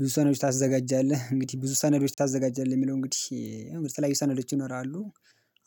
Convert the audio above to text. ብዙ ሰነዶች ታዘጋጃለህ እንግዲህ ብዙ ሰነዶች ታዘጋጃለህ የሚለው እንግዲህ የተለያዩ ሰነዶች ይኖራሉ።